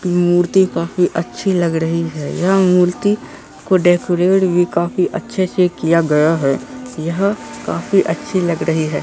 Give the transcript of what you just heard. मूर्ति काफ़ी अच्छी लग रही है यह मूर्ति को डेकोरेट भी काफी अच्छे से किया गया है यह काफी अच्छी लग रही है।